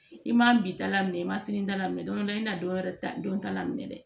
I ma bita la minɛ i ma sini ta laminɛ dɔw i n'a dɔwɛrɛ ta don ta la minɛ dɛ